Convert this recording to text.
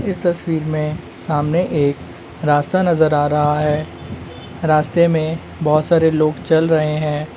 इस तस्वीर में सामने एक रास्ता नजर आ रहा है | रास्ते में बहुत सारे लोग चल रहे हैं।